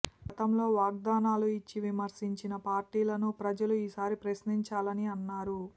గతంలో వాగ్దానాలు ఇచ్చి విస్మరించిన పార్టీలను ప్రజలు ఈసారి ప్రశ్నించాలని అన్నారు